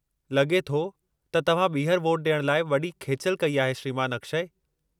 लॻे थो त तव्हां ॿीहर वोट ॾियण लाइ वॾी खेचलि कई आहे श्रीमानु अक्षय।